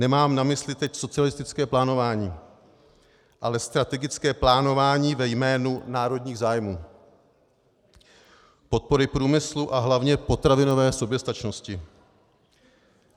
Nemám na mysli teď socialistické plánování, ale strategické plánování ve jménu národních zájmů, podpory průmyslu a hlavně potravinové soběstačnosti.